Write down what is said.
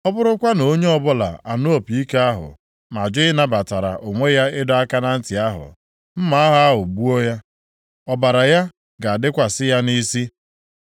ọ bụrụkwa na onye ọbụla anụ opi ike ahụ ma jụ ịnabatara onwe ya ịdọ aka na ntị ahụ, mma agha ahụ gbuo ya, ọbara ya ga-adịkwasị ya nʼisi.